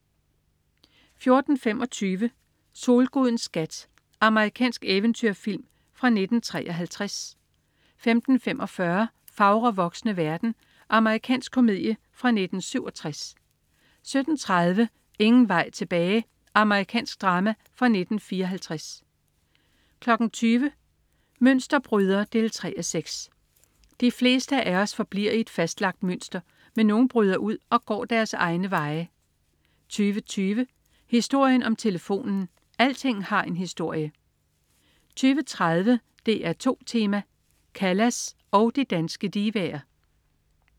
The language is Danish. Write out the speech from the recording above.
14.25 Solgudens skat. Amerikansk eventyrfilm fra 1953 15.45 Fagre voksne verden. Amerikansk komedie fra 1967 17.30 Ingen vej tilbage. Amerikansk drama fra 1954 20.00 Mønsterbryder 3:6. De fleste af os forbliver i et fastlagt mønster, men nogle bryder ud og går egne veje 20.20 Historien om telefonen. Alting har en historie! 20.30 DR2 Tema: Callas og de danske divaer